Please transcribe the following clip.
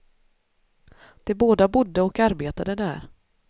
De både bodde och arbetade där.